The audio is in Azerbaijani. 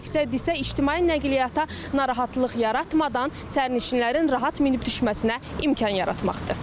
Məqsəd isə ictimai nəqliyyata narahatlıq yaratmadan sərnişinlərin rahat minib düşməsinə imkan yaratmaqdır.